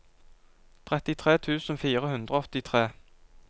trettitre tusen fire hundre og åttitre